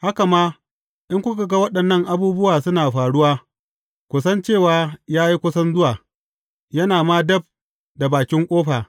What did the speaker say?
Haka ma, in kuka ga waɗannan abubuwa suna faruwa, ku san cewa ya yi kusan zuwa, yana ma dab da bakin ƙofa.